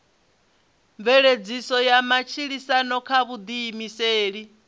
mveledziso ya matshilisano kha vhuḓiimiseli